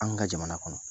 An ka jamana kɔnɔ